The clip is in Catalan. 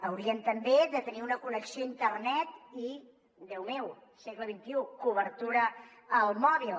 haurien també de tenir una connexió a internet i déu meu segle xxi cobertura al mòbil